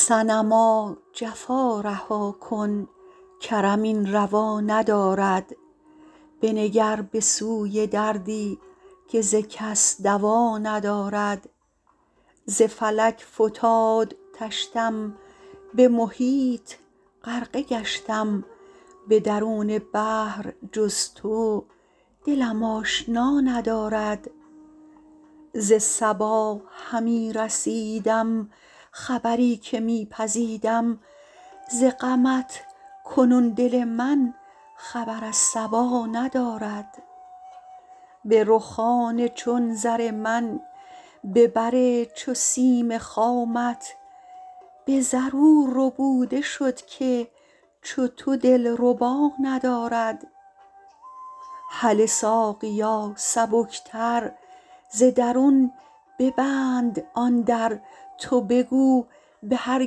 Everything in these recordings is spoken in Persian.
صنما جفا رها کن کرم این روا ندارد بنگر به سوی دردی که ز کس دوا ندارد ز فلک فتاد طشتم به محیط غرقه گشتم به درون بحر جز تو دلم آشنا ندارد ز صبا همی رسیدم خبری که می پزیدم ز غمت کنون دل من خبر از صبا ندارد به رخان چون زر من به بر چو سیم خامت به زر او ربوده شد که چو تو دلربا ندارد هله ساقیا سبکتر ز درون ببند آن در تو بگو به هر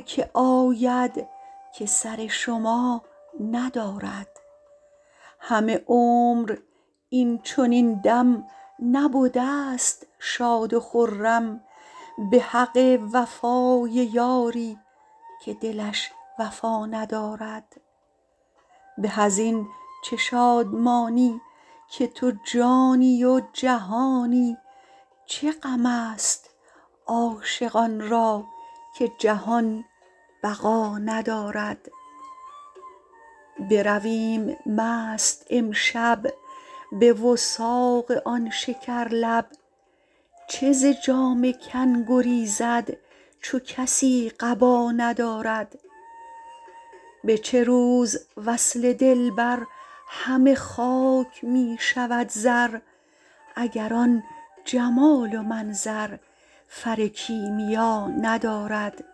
کی آید که سر شما ندارد همه عمر این چنین دم نبدست شاد و خرم به حق وفای یاری که دلش وفا ندارد به از این چه شادمانی که تو جانی و جهانی چه غمست عاشقان را که جهان بقا ندارد برویم مست امشب به وثاق آن شکرلب چه ز جامه کن گریزد چو کسی قبا ندارد به چه روز وصل دلبر همه خاک می شود زر اگر آن جمال و منظر فر کیمیا ندارد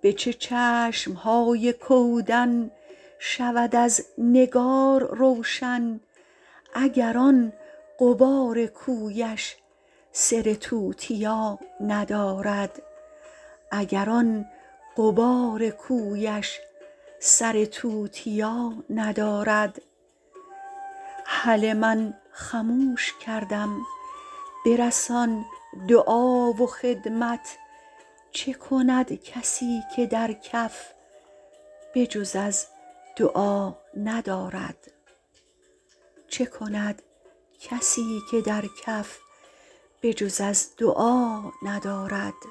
به چه چشم های کودن شود از نگار روشن اگر آن غبار کویش سر توتیا ندارد هله من خموش کردم برسان دعا و خدمت چه کند کسی که در کف به جز از دعا ندارد